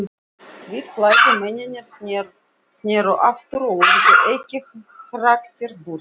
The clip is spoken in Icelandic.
Hvítklæddu mennirnir sneru aftur og urðu ekki hraktir burt.